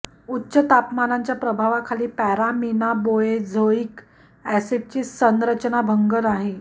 उच्च तापमानांच्या प्रभावाखाली पॅरामिनाबोएझोइक ऍसिडची संरचना भंग नाही